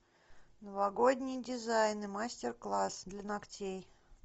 новогодние дизайны мастер класс для ногтей